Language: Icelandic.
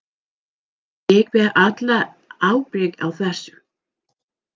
Ég ber alla ábyrgð á þessu.